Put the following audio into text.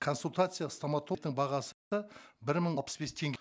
консультация стоматологтың бағасы бір мың алпыс бес теңге